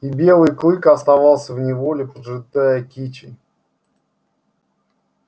и белый клык оставался в неволе поджидая кичи